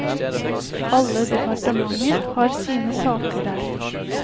Alle departementer har sine saker der.